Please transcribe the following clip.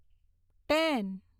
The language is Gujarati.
ટેન